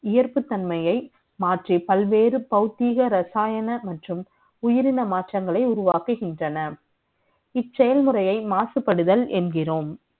ஈர்ப்புத்தன்மையை மாற்றி பல்வேறு பகுதிக ரசாயனங்களை உயிரின மாற்றங்களை உருவாக்குகின்றன நிச்சயம் வரை மாசுபடுதல் என்கிறோம்